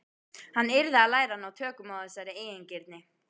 Hann yrði að læra að ná tökum á þessari eigingirni.